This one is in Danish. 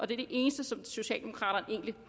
det eneste socialdemokraterne egentlig